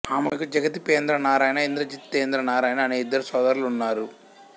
ఆమెకు జగద్దిపేంద్రనారాయణ్ ఇంద్రజితేంద్ర నారాయణ్ అనే ఇద్దరు సోదరులు ఉన్నారు